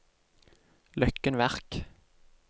Løkken Verk